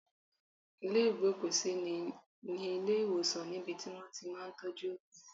Ilé ìgbókùsí ní ilé ìwòsàn ni ibi tí wón ti máa ń tọ́jú òkú.